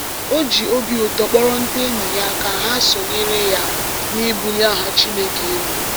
O ji obi ụtọ kpọrọ ndị enyi ya ka ha sonyere ya n’ịbulie aha Chineke elu.